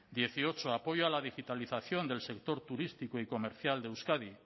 dieciocho apoyo a la digitalización del sector turístico y comercial de euskadi